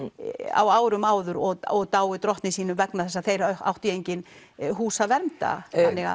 á árum áður og dáið drottni sínum vegna þess að þeir áttu í engin hús að venda